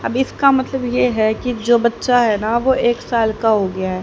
अब इसका मतलब ये है कि जो बच्चा है ना वो एक साल का हो गया है।